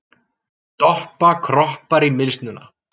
Doppa kroppar í mylsnuna.